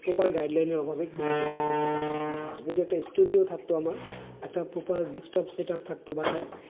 Proper guideline এর অভাবে কোন কিছু করতে পারছে না, হ্যাঁ যদি একটা studio থাকতো আমার যদি একটা proper setup থাকতো বাসায়,